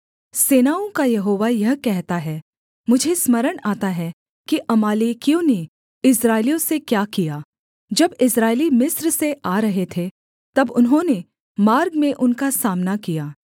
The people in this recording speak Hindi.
सेनाओं का यहोवा यह कहता है मुझे स्मरण आता है कि अमालेकियों ने इस्राएलियों से क्या किया जब इस्राएली मिस्र से आ रहे थे तब उन्होंने मार्ग में उनका सामना किया